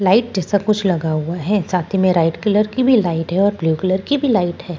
Light जैसा कुछ लगा हुआ है साथ ही में लाइट कलर की भी लाइट और ब्लू कलर की भी लाइट है।